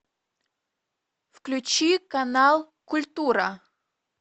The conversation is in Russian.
включи канал культура